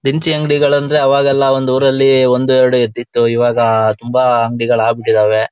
ನಂ ಫ್ರೆಂಡಿಗ್ Boost is the favourite one ಅವ್ನ್ ಬೂಸ್ಟ್ ಅಂತೂ ದಿನ ತೊಗೊಳ್ತಾನೇ ಇರ್ತನ್ --